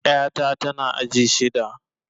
Ƴa ta tana aji shida